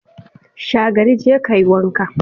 Shagari, je ka yi wanka!